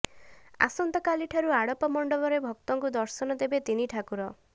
ଅସନ୍ତାକାଲିଠାରୁ ଆଡ଼ପ ମଣ୍ଡପରେ ଭକ୍ତଙ୍କୁ ଦର୍ଶନ ଦେବେ ତିନି ଠାକୁର